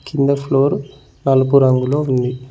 కింద ఫ్లోర్ నలుపు రంగులో ఉంది.